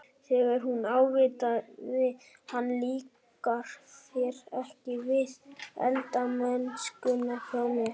Þegar hún ávítaði hann- Líkar þér ekki við eldamennskuna hjá mér?